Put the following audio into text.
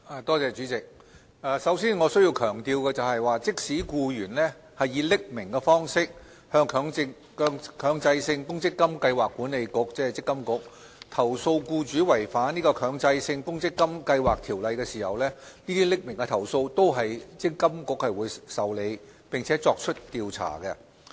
代理主席，首先，我需要強調的是，即使僱員以匿名方式向強制性公積金計劃管理局投訴僱主違反《強制性公積金計劃條例》，這些匿名的投訴，積金局仍會受理，並作出調查。